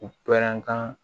U pɛrɛn kan